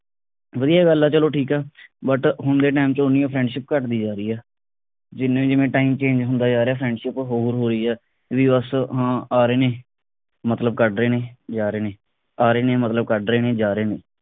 ਵਧੀਆ ਗੱਲ ਆ ਚਲੋ ਠੀਕ ਆ but ਹੁਣ ਦੇ time ਵਿਚ ਉਨੀ friendship ਘਟਦੀ ਜਾ ਰਹੀ ਆ ਜਿਵੇਂ ਜਿਵੇਂ time change ਹੁੰਦਾ ਜਾ ਰਿਹਾ friendship ਹੋਰ ਹੋ ਰਹੀ ਆ reverse ਹਾ ਆ ਰਹੇ ਨੇ ਮਤਲਬ ਘੱਟ ਰਹੇ ਨੇ ਜਾ ਰਹੇ ਨੇ ਆ ਰਹੇ ਨੇ ਮਤਲਬ ਘੱਟ ਰਹੇ ਨੇ ਜਾ ਰਹੇ ਨੇ